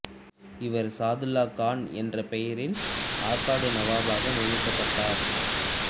இவர் சாதுல்லா கான் என்ற பெயரில் ஆற்காடு நவாப்பாக நியமிக்கப்பட்டார்